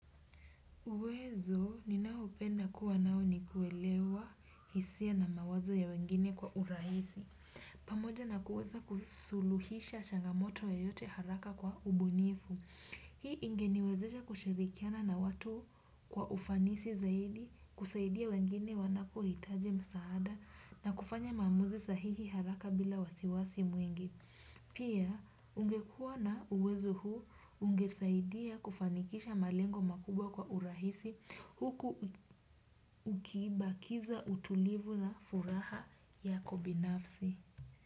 Uwezo ninaupenda kuwa nao ni kuelewa hisia na mawazo ya wengine kwa urahisi. Pamoja na kuweza kusuluhisha changamoto yoyote haraka kwa ubunifu. Hii ingeniwezesha kushirikiana na watu kwa ufanisi zaidi kusaidia wengine wanapohitaji msaada na kufanya maamuzi sahihi haraka bila wasiwasi mwingi. Pia ungekuwa na uwezo huu ungesaidia kufanikisha malengo makubwa kwa urahisi huku ukibakiza utulivu na furaha yako binafsi.